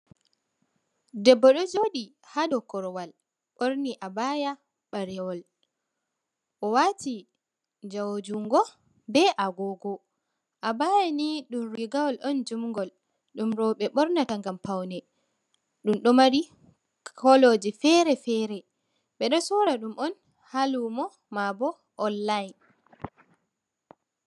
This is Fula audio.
Debbo ɗo jodi ha dau korwal, ɓorni abaya ɓalewol, o wati jawo jungo be agogo. Abaya nii ɗum rigawol on jun'ngol, dum roɓe ɓornata ngam paune, ɗum ɗo mari koloji fere-fere, ɓe ɗo sorra ɗum on ha lumo maabo online.